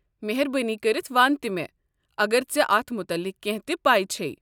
مہربٲنی کٔرتھ ون تہٕ مےٚ اگر ژےٚ اتھ متعلق کٮ۪نٛہہ تہِ پے چھیٚے۔